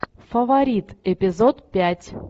фаворит эпизод пять